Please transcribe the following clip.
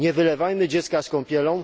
Nie wylewajmy dziecka z kąpielą!